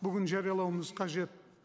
бүгін жариялауымыз қажет